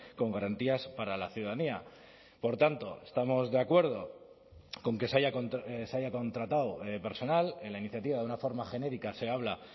con garantías para la ciudadanía por tanto estamos de acuerdo con que se haya contratado personal en la iniciativa de una forma genérica se habla